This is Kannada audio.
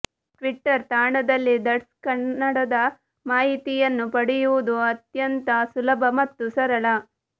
ಟ್ವಿಟ್ಟರ್ ತಾಣದಲ್ಲಿ ದಟ್ಸ್ ಕನ್ನಡದ ಮಾಹಿತಿಯನ್ನು ಪಡೆಯುವುದು ಅತ್ಯಂತ ಸುಲಭ ಮತ್ತು ಸರಳ